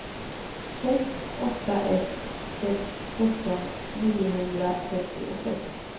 sex åtta ett sex sjutton niohundratrettiosex